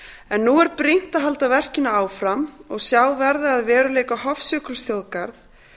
en nú er brýnt að halda verkinu áfram og sjá verða að veruleika hofsjökulsþjóðgarð